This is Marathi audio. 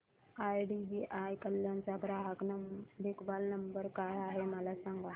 आयडीबीआय कल्याण चा ग्राहक देखभाल नंबर काय आहे मला सांगा